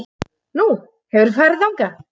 Nú, hefurðu farið þangað?